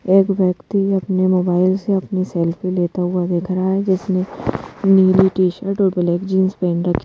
एक व्यक्ति अपने मोबाइल से अपनी सेल्फी लेता हुआ दिख रहा है जिसने नीली टी शर्ट और ब्लैक जींस पहन रखी--